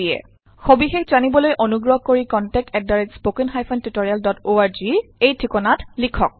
সবিশেষ জানিবলৈ অনুগ্ৰহ কৰি contact at spoken hyphen tutorial dot org লৈ লিখক